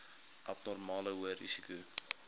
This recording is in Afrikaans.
abnormale hoë risiko